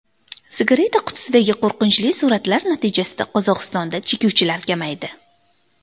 Sigareta qutisidagi qo‘rqinchli suratlar natijasida Qozog‘istonda chekuvchilar kamaydi.